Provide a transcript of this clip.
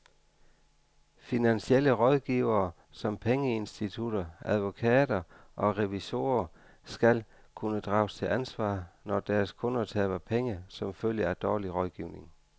Finansielle rådgivere som pengeinstitutter, advokater og revisorer skal kunne drages til ansvar, når deres kunder taber penge som følge af dårlig rådgivning.